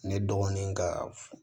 Ne dɔgɔnin ka f